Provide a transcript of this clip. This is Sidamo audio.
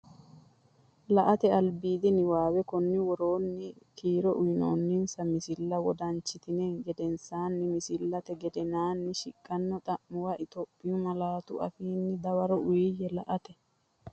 La”ate albiidi niwaawe Konni woroonni kiiro uyinoonninsa misilla wodanchitini gedensaanni misillate gedensaanni siqqino xa’muwa Itophiyu malaatu afiinni dawaro uuyye La”ate.